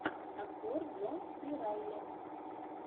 актер джон си райли